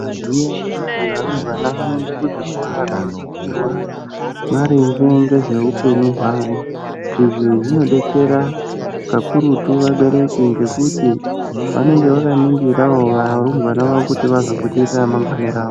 Maizviziva here kuti varumbwana vanoenda kuchikora kundodetserwa maringe nezvehupenyu hwavo izvi zvinodetsera kuti vanenge vakaningirawo kuti varumbwana vazopona ramangwana rawo.